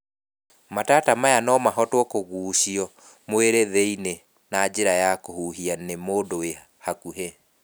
Mataata maya no mahotwo kũgucio mwĩrĩ thĩiniĩ na njĩra ya kũhuhia nĩ mundu wĩ hakuhĩ.